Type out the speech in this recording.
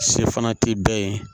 Se fana tɛ bɛɛ ye